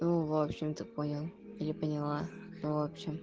ну в общем ты понял или поняла в общем